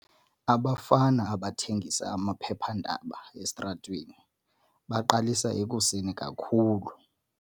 Abafana abathengisa amaphephandaba esitratweni baqalisa ekuseni kakhulu.